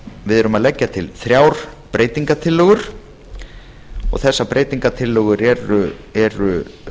við erum að leggja til þrjár breytingartillögur og þessar breytingartillögur eru